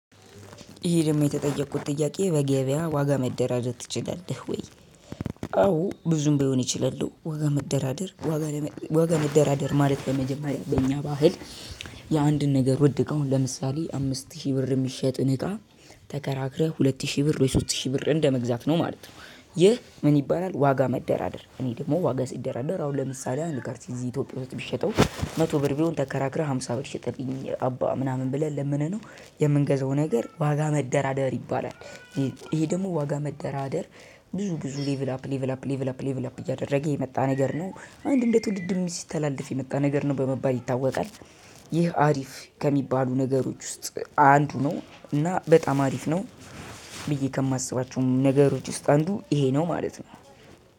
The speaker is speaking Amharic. እሄ ደሞ የተጠየቁት ጥያቄ በገበያ ዋጋ መደራደር ትችላለህ ወይ? አዎ ብዙም ቢሆን እችላለው ዋጋ መደራደር ዋጋ ለመ ዋጋ መደራደር ማለት በመጀመሪያ በእኛ ባህል የአንድን ነገር ውድ እቃ ማለት ነው። ለምሳሌ አምስት ሺ ብር የሚሸጥን እቃ ተከራክረህ ሁለት ሺ ብር ወይ ሶስት ሺ ብር እንደመግዛት ማለት ነው። ይህ ምን ይባላል? ዋጋ መደራደር እኔ ደግሞ ዋጋ ስደራደር አሁን ለምሳሌ አንድ ካርዲ እዚ እትዮጵያ ውስጥ ብሽጠው መቶ ብር ቢሆን ተከራክረህ ሃምሳ ብር ሽጥልኝ አባ ምናምን ብለን ለምነነው የምንገዛው ነገር ዋጋ መደራደር ይባላል። እሄ ደሞ ዋጋ መደራደር ብዙ ብዙ ሌቭል አፕ ሌቭል አፕ ሌቭል አፕ ሌቭል አፕ እያደረገ የመጣ ነገር ነው። አንድ እንዴት ውድድርም ሲስተላለፍ የመጣ ነገር ነው በመባል ይታወቃል። ይህ አሪፍ ከሚባሉ ነገሮች ውስጥ አንዱ ነው። እና በጣም አሪፍ ነው። ብዬ ከማስባቸውም ነገሮች ውስጥ አንዱ እሄ ነው ማለት ነው።